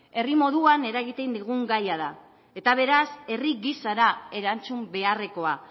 herri moduan eragiten digun gaia da eta beraz herri gisara erantzun beharrekoa